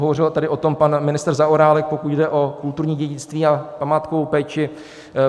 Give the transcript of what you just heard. Hovořil tady o tom pan ministr Zaorálek, pokud jde o kulturní dědictví a památkovou péči.